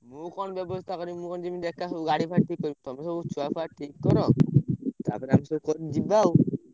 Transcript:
ମୁଁ କଣ ବ୍ୟବସ୍ତା କରିବି ମୁଁ କଣ ଜିମି ଏକ ସବୁ ଗାଡି ଫାଡି ଠିକ୍ କରିବି ସବୁ, ସବୁ ଛୁଆଫୁଆ ଠିକ୍ କର ।